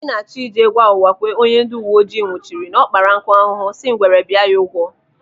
Anyị na-achọ ije gwa Uwakwe, onye ndị uwe ojii nwụchiri, na ọ kpara nkụ ahụhụ si ngwere bịa ya ụgwọ